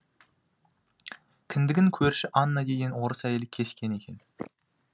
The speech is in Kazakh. кіндігін көрші анна деген орыс әйел кескен екен